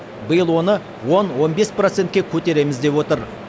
биыл оны он он бес процентке көтереміз деп отыр